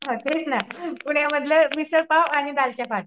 हा तेच ना पुण्यामधलं मिसळपाव आणि